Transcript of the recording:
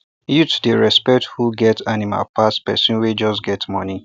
youth dey respect who get animal pass person wey just get money